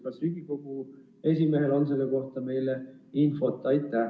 Kas Riigikogu esimehel on selle kohta infot?